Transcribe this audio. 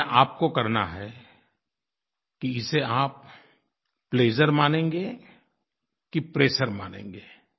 निर्णय आपको करना है कि इसे आप प्लेजर मानेंगे कि प्रेशर मानेंगे